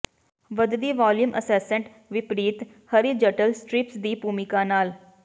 ਵਧਦੀ volume ascent ਵਿਪਰੀਤ horizontal strips ਦੀ ਭੂਮਿਕਾ ਨਾਲ